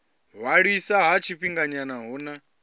ṅwaliswa ha tshifhinganyana hu na